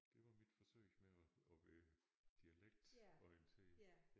Det var mit forsøg med at at være dialektorienteret